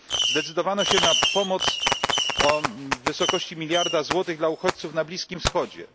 Zdecydowano się na pomoc w wysokości miliarda euro dla uchodźców na Bliskim Wschodzie.